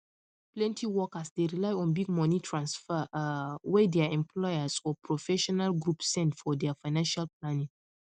plenty workers dey rely on big money transfers um wey their employers or professional groups send for their financial planning um